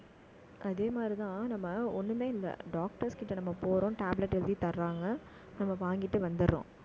அதே மாதிரிதான், நம்ம ஒண்ணுமே இல்லை. doctors கிட்ட நம்ம போறோம். tablet எழுதி தர்றாங்க. நம்ம வாங்கிட்டு வந்துடுறோம்